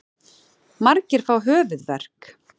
Margir fá höfuðverk.